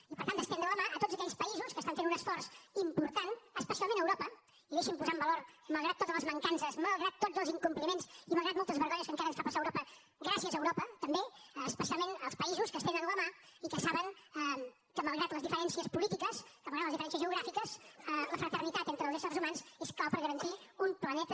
i per tant d’estendre la mà a tots aquells països que estan fent un esforç important especialment a europa i deixi’m posar en valor malgrat totes les mancances malgrat tots els incompliments i malgrat moltes vergonyes que encara ens fa passar europa gràcies a europa també especialment als països que estenen la mà i que saben que malgrat les diferències polítiques que malgrat les diferències geogràfiques la fraternitat entre els éssers humans és clau per garantir un planeta